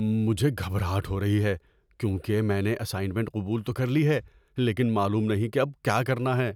مجھے گھبراہٹ ہو رہی ہے کیونکہ میں نے اسائنمنٹ قبول تو کر لی ہے لیکن معلوم نہیں کہ اب کیا کرنا ہے۔